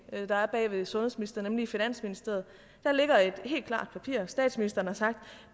der er bag ved sundhedsministeren nemlig i finansministeriet der ligger et helt klart papir har statsministeren sagt